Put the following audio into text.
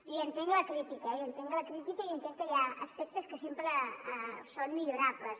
i entenc la crítica eh i entenc la crítica i entenc que hi ha aspectes que sempre són millorables